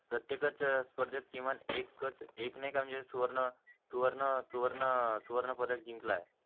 प्रत्येकाच्या स्पर्धेत किमान एकच एक नाय का म्हणजे सुवर्ण सुवर्ण सुवर्ण अं सुवर्ण पदक जिंकलाय